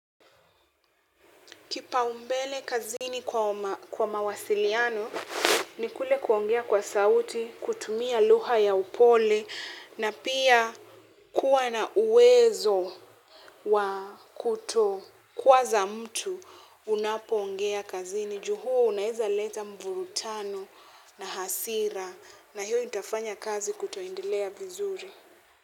Kipaumbele kazini kwa mawasiliano ni kule kuongea kwa sauti, kutumia lugha ya upole na pia kuwa na uwezo wa kutokwaza mtu unapoongea kazini. Ju huo unaezaleta mvurutano na hasira na hiyo itafanya kazi kutoendelea vizuri.